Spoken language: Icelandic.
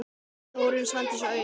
Þórunn, Svandís og Auður.